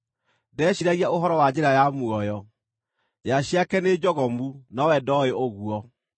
Ndeciiragia ũhoro wa njĩra ya muoyo; njĩra ciake nĩ njogomu, nowe ndooĩ ũguo.